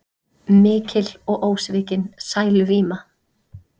Mikil og ósvikin sæluvíma.